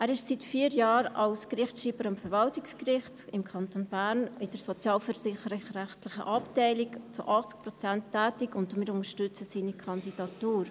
Er ist seit vier Jahren als Gerichtsschreiber am Verwaltungsgericht des Kantons Bern in der sozialversicherungsrechtlichen Abteilung zu 80 Prozent tätig, und wir unterstützen seine Kandidatur.